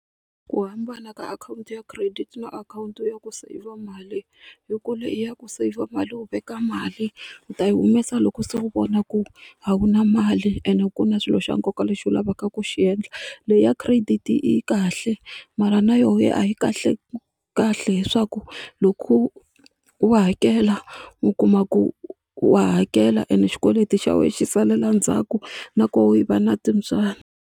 Ku hambana ka akhawunti ya credit na akhawunti ya ku seyivha mali hi ku leyi ya ku saver mali wu veka mali u ta yi humesa loko se u vona ku a wu na mali ende ku na swilo xa nkoka lexi u lavaka ku xi endla leya credit yi kahle mara na yo ya a yi kahle kahle hi swa ku loko u hakela u kuma ku wa hakela ende xikweleti xa wena xi salela ndzhaku nakoho va na .